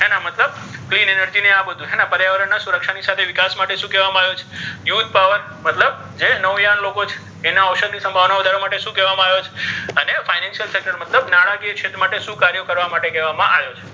green energy ને આ બધુ પર્યાવરણ ના સુરક્ષા નિ સાથે વિકાસ માટે શુ કહેવામા આવે છે એવો જ power મતલબ યાન લોકો છે એના ઔષધી શુ કહેવામા આવ્યો છે financial મતલબ નાણાકીય કાર્ય કરવામા આવ્યો છે.